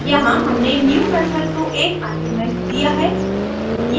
यहाँ हमने new method को एक आर्गुमेंट दिया है